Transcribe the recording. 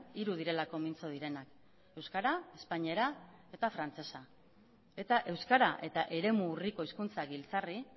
hiru direlako mintzo direnak euskara espainiera eta frantsesa eta euskara eta eremu urriko hizkuntza giltzarri